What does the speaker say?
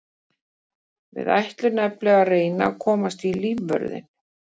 Við ætlum nefnilega að reyna að komast í lífvörðinn.